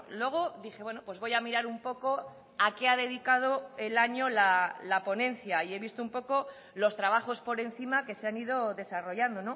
luego dije bueno pues voy a mirar un poco a qué a dedicado el año la ponencia y he visto un poco los trabajos por encima que se han ido desarrollando